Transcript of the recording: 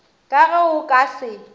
ka ge o ka se